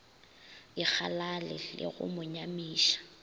ikgalale le go mo nyamiša